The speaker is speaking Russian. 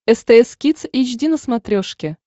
стс кидс эйч ди на смотрешке